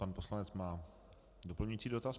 Pan poslanec má doplňující dotaz.